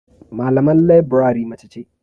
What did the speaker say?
Malaman leburare mace ce.